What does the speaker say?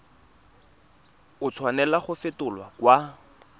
a tshwanela go fetolwa kwa